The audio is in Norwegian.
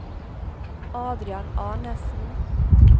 Adrian Arnesen